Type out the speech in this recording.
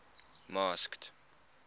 masked